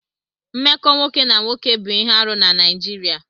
Mmekọ nwoke na nwoke bụ ihe arụ na Naịjirịa.